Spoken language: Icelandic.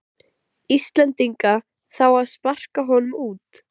Íslendinga, þá á að sparka honum út.